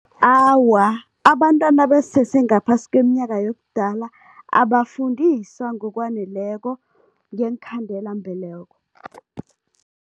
Awa, abantwana abasese ngaphasi kweminyaka yobudala, abafundiswa ngokwaneleko ngeenkhandelambeleko.